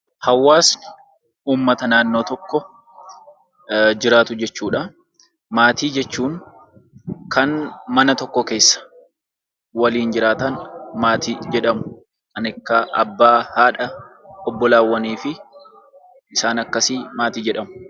Hawaasni uummata naannoo tokko jiraatu jechuudha. Maatii jechuun kan mana tokko keessa waliin jiraatan maatii jedhamu. Kan akka abbaa, haadha, obbolaawwan isaan akkasii maatii jedhamu.